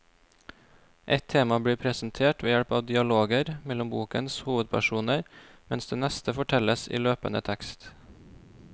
Ett tema blir presentert ved hjelp av dialoger mellom bokens hovedpersoner, mens det neste fortelles i løpende tekst.